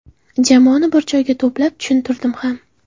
Jamoani bir joyga to‘plab tushuntirdim ham.